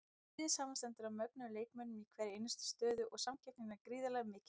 Liðið samanstendur af mögnuðum leikmönnum í hverri einustu stöðu og samkeppnin er gríðarlega mikil.